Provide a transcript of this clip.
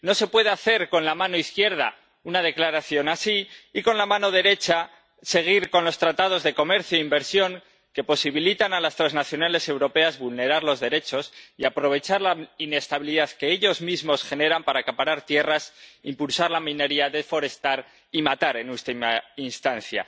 No se puede hacer con la mano izquierda una declaración así y con la mano derecha seguir con los tratados de comercio e inversión que posibilitan a las transnacionales europeas vulnerar los derechos y aprovechar la inestabilidad que ellas mismas generan para acaparar tierras, impulsar la minería, deforestar y matar, en última instancia.